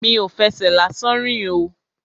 Mi ò fẹsẹ̀ lásán rìn o.